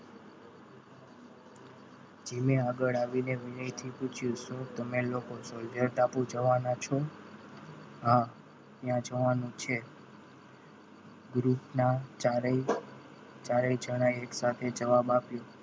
જીમે આગળ આવીને વિનયથી પૂછ્યું તમે લોકો Soldier ટાપુ જવાના છો? હા ત્યાં જવાનું છે group ના ચારે ચારે જણા એક સાથે જવાબ આપ્યો.